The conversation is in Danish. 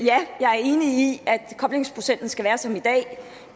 koblingsprocenten skal være som i dag